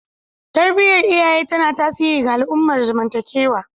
Tarbiyar iyaye tana tasiri ga al'amuran zamantakewa